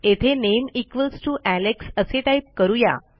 येथे name equals T O Alex असे type करू या